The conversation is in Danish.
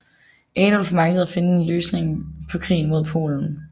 Adolf manglede at finde en løsning på krigen mod Polen